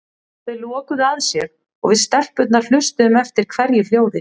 Þau lokuðu að sér og við stelpurnar hlustuðum eftir hverju hljóði.